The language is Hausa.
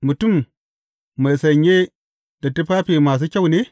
Mutum mai sanye da tufafi masu kyau ne?